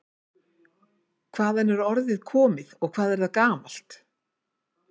Hvaðan er orðið komið og hvað er það gamalt?